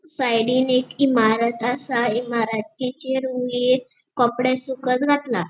साइडीन एक इमारत आसा इमारतीचेर वयर कॉपड़े सुकत घातला.